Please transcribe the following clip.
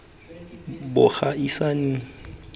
bo gaisang jo bo gona